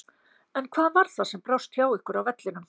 En hvað var það sem brást hjá ykkur á vellinum?